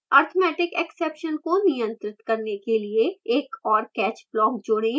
arithmeticexception को नियंत्रित करने के लिए एक औरcatch block जोड़ें